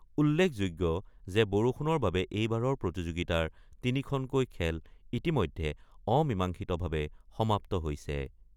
উল্লেখযোগ্য যে বৰষুণৰ বাবে এইবাৰৰ প্ৰতিযোগিতাৰ তিনিখনকৈ খেল ইতিমধ্যে অমীমাংসিতভাৱে সমাপ্ত হৈছে।